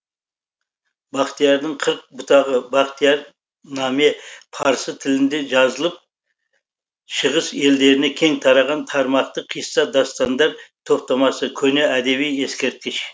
бақтиярдың қырық бұтағы бақтияр наме парсы тілінде жазылып шығыс елдеріне кең тараған тармақты қисса дастандар топтамасы көне әдеби ескерткіш